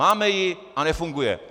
Máme ji a nefunguje.